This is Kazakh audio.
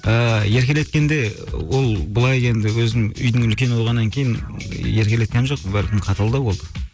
ыыы еркелеткенде ол былай енді өзім үйдің үлкені болғаннан кейін еркелеткен жоқ бәлкім қаталдау болды